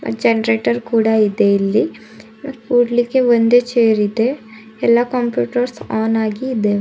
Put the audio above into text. Generator ಕೂಡ ಇದೆ ಇಲ್ಲಿ ಕೂಡ್ಲಿಕ್ಕೆ ಒಂದು ಚೇರ್ ಇದೆ ಎಲ್ಲಾ ಕಂಪ್ಯೂಟರ್ಸ್ ಆನ್ ಆಗಿ ಇದವೆ.